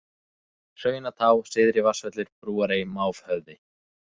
Hraunatá, Syðri-Vatnsvöllur, Brúarey, Mávhöfði